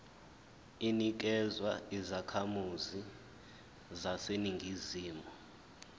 inikezwa izakhamizi zaseningizimu